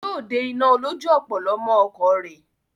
Yóò de iná olójú ọ̀pọ̀lọ́ mọ́ ọkọ̀ rẹ̀.